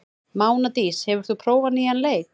Mánadís, hefur þú prófað nýja leikinn?